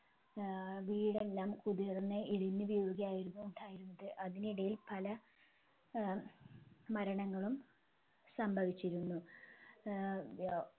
ഏർ വീടെല്ലാം കുതിർന്ന് ഇടിഞ്ഞുവീഴുകയായിരുന്നു ഉണ്ടായിരുന്നത് അതിനിടയിൽ പല ഏർ മരണങ്ങളും സംഭവിച്ചിരുന്നു ഏർ വ്യ